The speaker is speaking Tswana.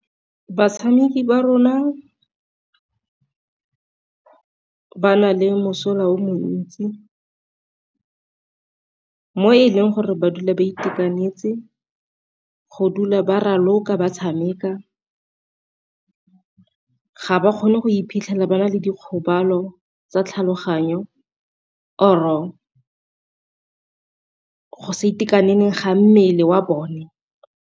Batshameki ba rona ba na le mosola o montsi mo e leng gore ba dula ba itekanetse go dula ba raloka ba tshameka, ga ba kgone go iphitlhela ba na le dikgobalo tsa tlhaloganyo or-o go sa itekaneleng ga mmele wa bone.